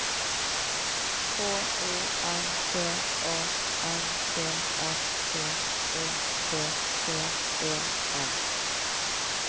K O N T A N T S T Ø T T E N